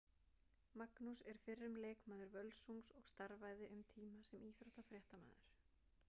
Magnús er fyrrum leikmaður Völsungs og starfaði um tíma sem íþróttafréttamaður.